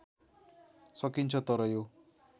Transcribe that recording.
सकिन्छ तर यो